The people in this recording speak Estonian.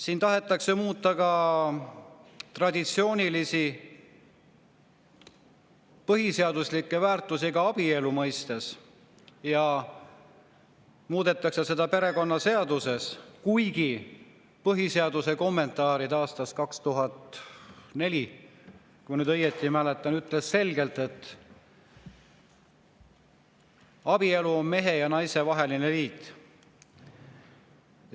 Siin tahetakse muuta ka traditsioonilisi põhiseaduslikke väärtusi abielu mõistes ja muudetakse seda perekonnaseaduses, kuigi põhiseaduse kommentaarid aastast 2004, kui ma nüüd õigesti mäletan, ütlesid selgelt, et abielu on mehe ja naise vaheline liit.